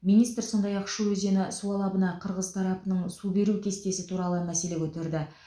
министр сондай ақ шу өзені су алабына қырғыз тарапының су беру кестесі туралы мәселе көтерді